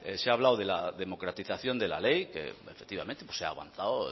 se ha hablado de la democratización de la ley que efectivamente se ha avanzado